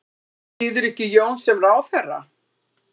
Styður ekki Jón sem ráðherra